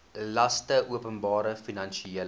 laste openbare finansiële